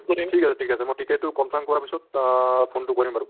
ঠিক আছে ঠিক আছে মই ticket তো confirm কৰাৰ পিছত অ phone তো কৰিম বাৰু